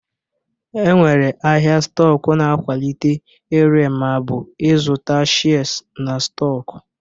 E nwere ahịa stọk na-akwalite ire maọbụ ịzụta shers na stọk